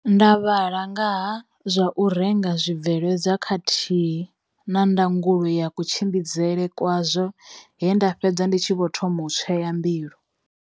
Nda vhala nga ha zwa u renga zwibveledzwa khathihi na ndangulo ya kutshi mbidzele kwazwo he nda fhedza ndi tshi vho thoma u tsweyambilu.